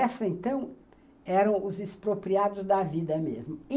Essas, então, eram os expropriados da vida mesmo.